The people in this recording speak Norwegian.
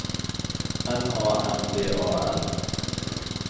N A M D A L